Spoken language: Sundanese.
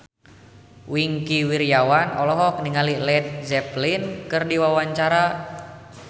Wingky Wiryawan olohok ningali Led Zeppelin keur diwawancara